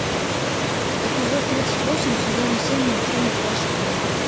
эпизод тридцать восемь сезона семь мультфильма плащ и кинжал